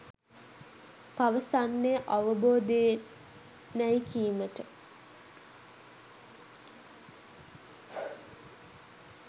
පවසන්නේ අවබෝධයෙනැයි කීමට